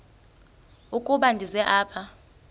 ukuba ndize apha